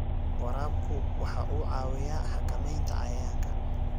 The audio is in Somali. Waraabku waxa uu caawiyaa xakamaynta cayayaanka.